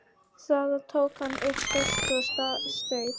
Þaðan tók hann upp flösku og staup.